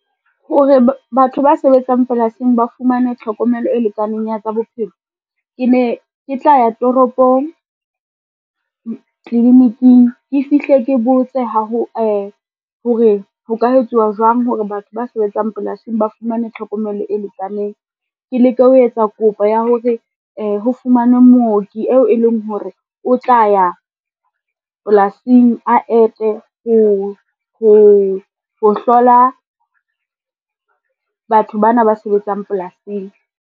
Hore batho ba sebetsang polasing ba fumane tlhokomelo e lekaneng ya tsa bophelo. Ke ne ke tla ya toropong, tliliniking ke fihle ke botse hore ho ka etsuwa jwang hore batho ba sebetsang polasing ba fumane tlhokomelo e lekaneng. Ke leke ho etsa kopo ya hore ho fumanwe mooki eo e leng hore, o tla ya polasing a ete ho hlola batho ba na ba sebetsang polasing.